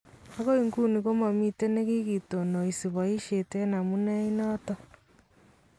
Akoi nguni ko momitten nekikitonoisi boisyet en amunei inotton